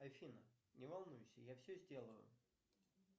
афина не волнуйся я все сделаю